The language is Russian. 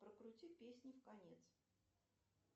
прокрути песню в конец